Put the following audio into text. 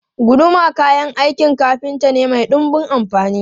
Guduma kayan aikin kafinta ne mai dunbun amfani.